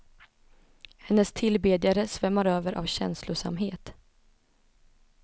Hennes tillbedjare svämmar över av känslosamhet.